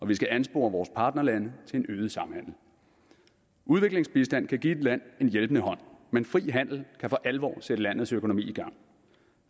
vi skal anspore vores partnerlande til at øge samhandelen udviklingsbistand kan give et land en hjælpende hånd men fri handel kan for alvor sætte et lands økonomi i gang